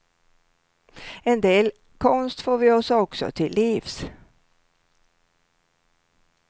En del konst får vi oss också till livs.